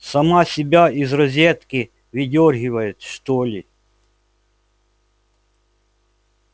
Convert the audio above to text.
сама себя из розетки выдёргивает что ли